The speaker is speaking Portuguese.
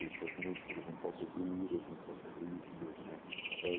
Deixa os músculos um pouco duros, um pouco rígidos, né?